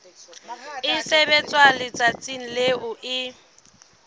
e sebetswa letsatsing leo e